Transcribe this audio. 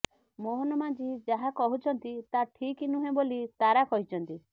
ମୋହନ ମାଝୀ ଯାହା କହୁଛନ୍ତି ତାହା ଠିକ ନୁହେଁ ବୋଲି ତାରା କହିଛନ୍ତି